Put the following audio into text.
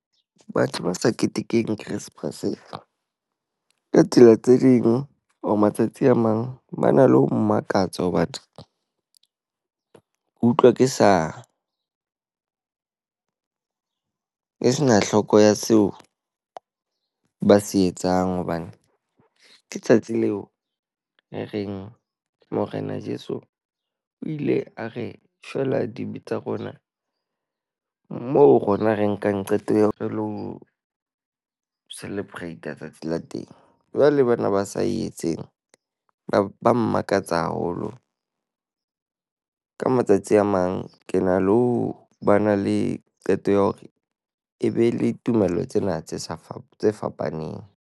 Batho ba sa ketekeng Keresemase, ka tsela tse ding or matsatsi a mang ba na le ho mmakatsa ho batho. Ko utlwa ke sa e sena hloko ya seo ba se etsang, hobane ke tsatsi leo e reng morena Jeso o ile a re shwela dibe tsa rona. Moo rona re nkang qeto eo re lo celebrate letsatsi la teng. Jwale bana ba sa etseng ba ba mmakatsa haholo. Ka matsatsi a mang ke na le ho bana le qeto ya hore e be le tumello tsena tse fapa fapaneng.